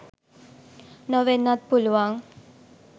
නොවෙන්නත් පුළුවන්.